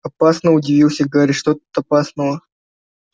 опасно удивился гарри что тут опасного